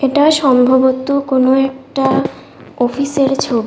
এটা সম্ভবত কোন একটা অফিসের -এর ছ--